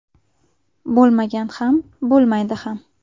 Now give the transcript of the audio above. Bo‘lmagan ham, bo‘lmaydi ham.